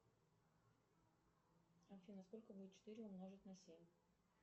афина сколько будет четыре умножить на семь